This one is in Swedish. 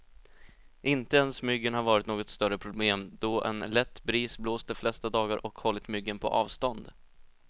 Inte ens myggen har varit något större problem, då en lätt bris blåst de flesta dagar och hållit myggen på avstånd.